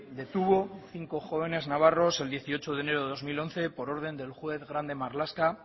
retuvo a cinco jóvenes navarros el dieciocho de enero de dos mil once por orden del juez grande marlaska